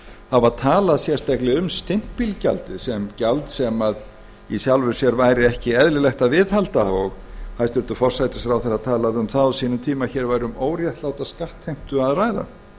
hafa talað sérstaklega um stimpilgjaldið sem gjald sem í sjálfu sér væri ekki eðlilegt að viðhalda og hæstvirtur forsætisráðherra talaði um það á sínum tíma að hér væri um óréttláta skattheimtu að ræða